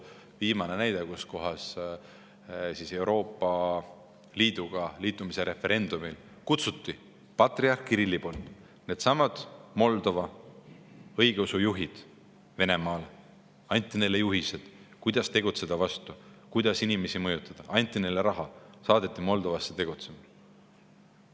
Viimane näide: Euroopa Liiduga liitumise referendumil kutsus patriarh Kirill needsamad Moldova õigeusujuhid Venemaale, neile anti juhised, kuidas tegutseda vastu, kuidas inimesi mõjutada, neile anti raha, saadeti Moldovasse tegutsema.